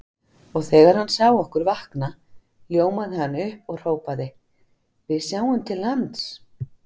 Og þegar hann sá okkur vakna ljómaði hann upp og hrópaði: Við sjáum til lands!